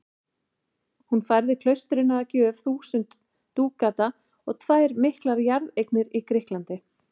Hún færði klaustrinu að gjöf þúsund dúkata og tvær miklar jarðeignir í Grikklandi.